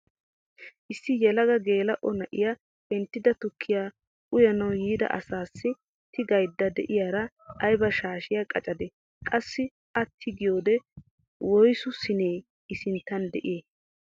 Issi yelaga geela'o na'iyaa penttida tukkiyaa uyanawu yiida asassi tigaydda de'iyaara ayba shaashiyaa qacadee? qassi a tigiyoode woysu siinee i sinttan de'ii?